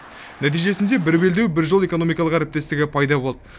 нәтижесінде бір белдеу бір жол экономикалық әріптестігі пайда болды